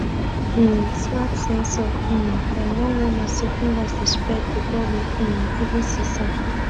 um smart sensor um dem don warn us say fungus dey spread before we um even see sign